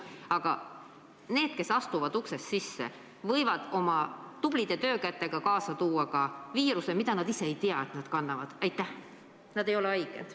Aga need, kes alles astuvad uksest sisse, võivad oma tublide töökätega kaasa tuua viiruse, mida nad ise ei tea end kandvat, sest nad ei ole haiged.